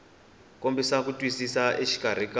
kombisa ku twisisa exikarhi ka